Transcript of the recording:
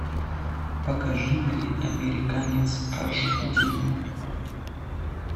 покажи мне американец аш ди